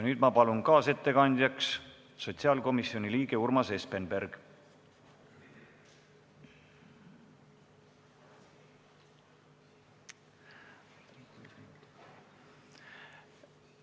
Nüüd ma palun kaasettekandjaks sotsiaalkomisjoni liikme Urmas Espenbergi.